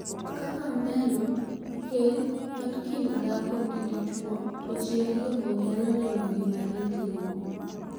Kaka oneno, keny en kind dhako gi dichuo to ji ariyogo nyalo neno gima gi timo.